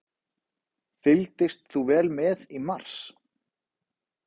Fylgdist þú vel með í mars?